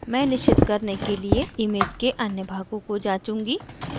मैं निश्चित करने के लिए image के अन्य भागों को जांचूंगी